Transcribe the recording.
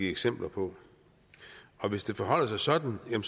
eksempler på hvis det forholder sig sådan er en